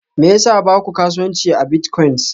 Me yasa ba ku kasuwanci a biltcoins?